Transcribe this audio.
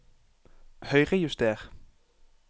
Høyrejuster